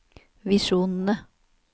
visjonene